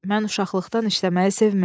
Mən uşaqlıqdan işləməyi sevmiridim.